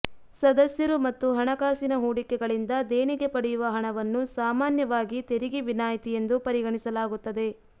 ಸದಸ್ಯರು ಮತ್ತು ಹಣಕಾಸಿನ ಹೂಡಿಕೆಗಳಿಂದ ದೇಣಿಗೆ ಪಡೆಯುವ ಹಣವನ್ನು ಸಾಮಾನ್ಯವಾಗಿ ತೆರಿಗೆ ವಿನಾಯಿತಿ ಎಂದು ಪರಿಗಣಿಸಲಾಗುತ್ತದೆ